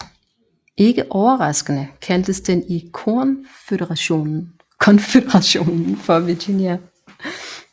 Ikke overraskende kaldtes den i Konføderationen for Virginia